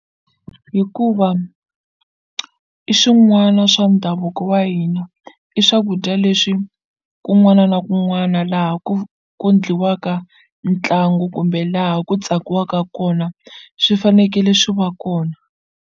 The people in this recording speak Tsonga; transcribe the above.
Hikuva i swin'wana swa ndhavuko wa hina i swakudya leswi kun'wana na kun'wana laha ku ku endliwaka ntlangu kumbe laha ku tsakiwaka kona swi fanekele swi va kona.